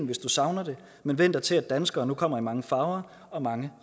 hvis du savner det men væn dig til at danskere nu kommer i mange farver og mange